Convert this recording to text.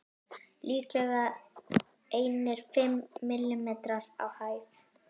Líklega einir fimm millimetrar á hæð.